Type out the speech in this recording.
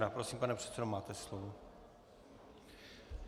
Prosím, pane předsedo, máte slovo.